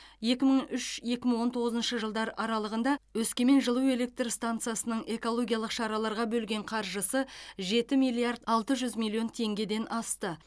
екі мың үш екі мың он тоғызыншы жылдар аралығында өскемен жылу электр станциясының экологиялық шараларға бөлген қаржысы жеті миллиард алты жүз миллион теңгеден асты